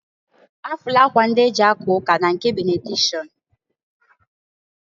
Afụlụ akwa ndị e ji aka ụka na nke benedikshọn.